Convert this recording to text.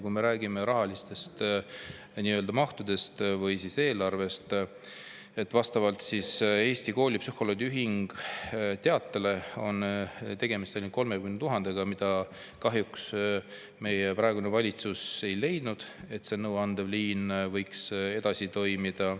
Kui me räägime rahalistest mahtudest või eelarvest, siis Eesti Koolipsühholoogide Ühingu teate kohaselt on tegemist ainult 30 000 euroga, mida kahjuks meie praegune valitsus ei ole leidnud, et see nõuandev liin saaks edasi toimida.